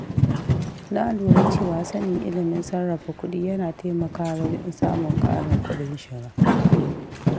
Na lura cewa sanin ilimin sarrafa kuɗi yana taimakawa wajen samun ƙarin kuɗin shiga.